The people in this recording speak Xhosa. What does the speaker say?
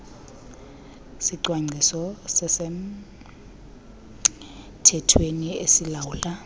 sicwangciso sasemthethweni esilawula